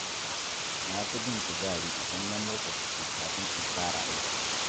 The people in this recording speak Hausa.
Na fi jin kuzari idan na motsa jiki kafin in fara aiki.